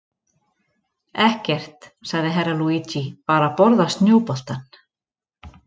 Ekkert, sagði Herra Luigi, bara borða snjóboltann.